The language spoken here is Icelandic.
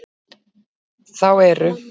Þá eru